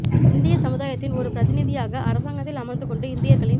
இந்திய சமுதாயத்தின் ஒரு பிரதிநிதியாக அரசாங்கத்தில் அமர்ந்து கொண்டு இந்தியர்களின்